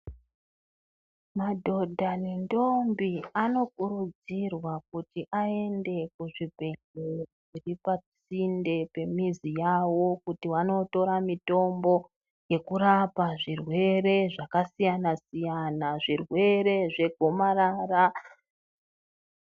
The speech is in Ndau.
Madhodha nendombi anokurudzirwa kuti aenda kuzvibhedhlera zviri pasinde nemizi yavo kuti vanotora mitombo yekurapa zvirwere zvakasiyana siyana . Zvirwere zvegomarara.